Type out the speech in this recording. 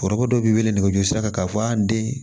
Foroko dɔ b'i wele nɛgɛjurusi sira kan k'a fɔ an den